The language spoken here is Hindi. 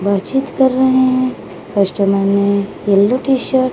बातचीत कर रहे हैं कस्टमर ने येलो टी शर्ट --